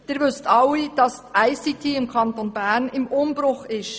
Sie wissen alle, dass die ICT im Kanton Bern im Umbruch ist.